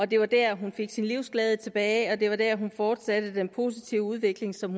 det var der hun fik sin livsglæde tilbage og det var der hun fortsatte den positive udvikling som